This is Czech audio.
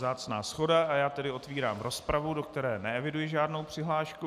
Vzácná shoda, a já tedy otevírám rozpravu, do které neeviduji žádnou přihlášku.